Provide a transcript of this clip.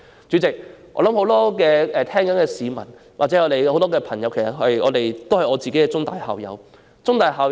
主席，我相信很多聆聽發言的市民或朋友也跟我一樣是香港中文大學的校友。